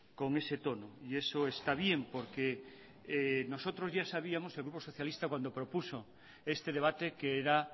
con ese tono y eso está bien porque nosotros ya sabíamos el grupo socialista cuando propuso este debate que era